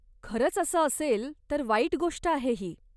खरंच असं असेल, तर वाईट गोष्ट आहे ही.